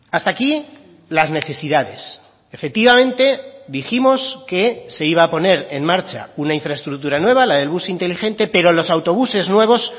hasta aquí las necesidades efectivamente dijimos que se iba a poner en marcha una infraestructura nueva la del bus inteligente pero los autobuses nuevos